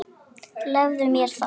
Leyfðu mér það